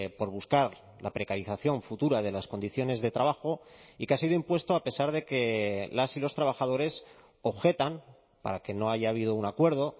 por buscar la precarización futura de las condiciones de trabajo y que ha sido impuesto a pesar de que las y los trabajadores objetan para que no haya habido un acuerdo